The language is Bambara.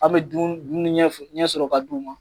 An be dun dumuni ɲɛ sɔrɔ ka d'u ma.